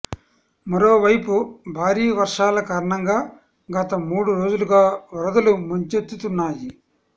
మరోవైపు భారీ వర్షాల కారణంగా గత మూడు రోజులుగా వరదలు ముంచెత్తుతున్నాయి